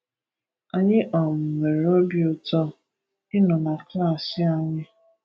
Anyị um nwere obi ụtọ ịnọ na klaasị anyị!!